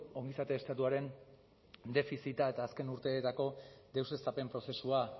ongizate estatuaren defizita eta azken urteetako deuseztapen prozesua